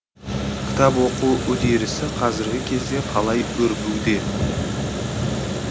кітап оқу үдерісі қазіргі кезде қалай өрбуде